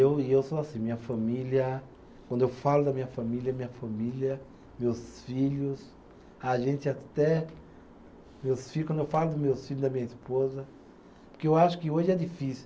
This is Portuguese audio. Eu e eu sou assim, minha família, quando eu falo da minha família, minha família, meus filhos, a gente até, meus filho, quando eu falo dos meus filho e da minha esposa, porque eu acho que hoje é difícil.